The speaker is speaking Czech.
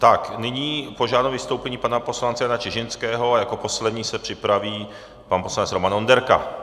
Tak nyní požádám o vystoupení pana poslance Jana Čižinského a jako poslední se připraví pan poslanec Roman Onderka.